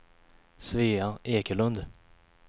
Svea Ekelund